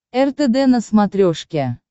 ртд на смотрешке